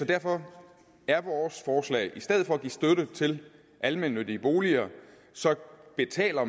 derfor er vores forslag at i stedet for at give støtte til almennyttige boliger så betaler